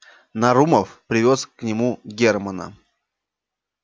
нарумов привёз к нему германна